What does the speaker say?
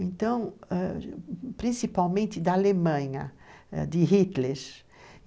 Então ãh, principalmente da Alemanha ãh, de Hitler.